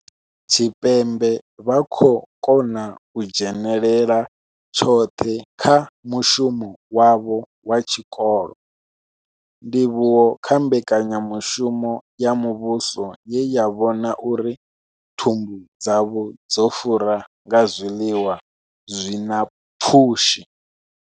Tshipembe vha khou kona u dzhenela tshoṱhe kha mushumo wavho wa tshikolo, ndivhuwo kha mbekanyamushumo ya muvhuso ye ya vhona uri thumbu dzavho dzo fura nga zwiḽiwa zwi na pfushi.